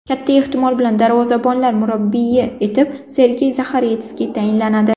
Katta ehtimol bilan davrozabonlar murabbiyi etib Sergey Zaxaretskiy tayinlanadi.